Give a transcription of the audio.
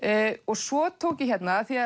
svo tók ég hérna af því